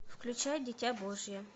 включай дитя божье